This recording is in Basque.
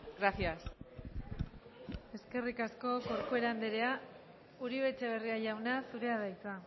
gracias eskerrik asko corcuera andrea uribe etxebarria jauna zurea da hitza